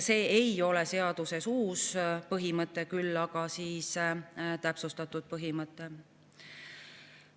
See ei ole seaduses uus põhimõte, küll aga täpsustatud põhimõte.